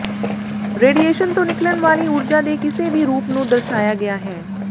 radiation ਤੋਂ ਨਿਕਲਣ ਵਾਲੀ ਊਰਜਾ ਦੇ ਕਿਸੇ ਵੀ ਰੂਪ ਨੂੰ ਦਰਸਾਇਆ ਗਿਆ ਹੈ